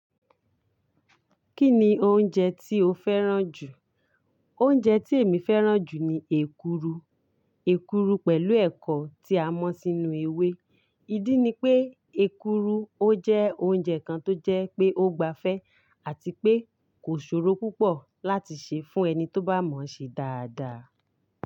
Kí ni oúnjẹ tí o fẹ́ràn jù? Oúnjẹ tí èmi fẹ́ràn jù ni èkuru. Èkuru pẹ̀lú ẹ̀kọ tí a mọ̀ sínú ewé. Ìdí ni pé èkuru ó jẹ́ oúnjẹ kan tó jẹ́ pé ó gbafẹ́ àti pé kò ṣòro púpọ̀ láti ṣe fún ẹni tó bá mọ̀ ṣe dáadáa.